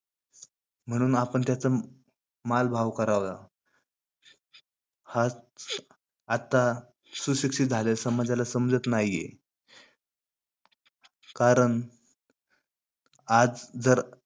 म्हणून आपण त्याचा माल भाव करावा. हा आता सुशिक्षित झालेल्या समाजाला समजत नाही आहे. कारण आज जर